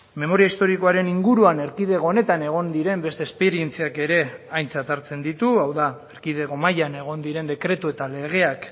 memoria historikoaren inguruan erkidego honetan egon diren beste esperientziak ere aintzat hartzen ditu hau da erkidego mailan egon diren dekretu eta legeak